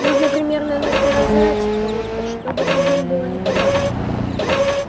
нужно примерно наказать кого-то чтобы другим было неповадно